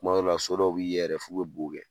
Tuma dɔw la so dɔw bi f'u be bo kɛ.